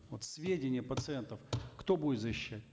вот сведения пациентов кто будет защищать